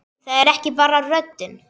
Það er ekki bara röddin.